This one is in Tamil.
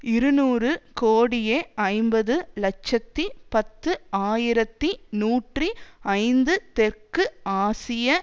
இருநூறு கோடியே ஐம்பது இலட்சத்தி பத்து ஆயிரத்தி நூற்றி ஐந்து தெற்கு ஆசிய